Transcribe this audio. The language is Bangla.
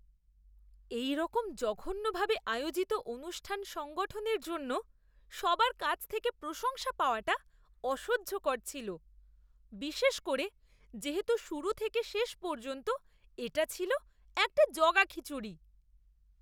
এইরকম জঘন্যভাবে আয়োজিত অনুষ্ঠান সংগঠনের জন্য সবার কাছ থেকে প্রশংসা পাওয়াটা অসহ্যকর ছিল, বিশেষ করে যেহেতু শুরু থেকে শেষ পর্যন্ত এটা ছিল একটা জগাখিচুড়ি!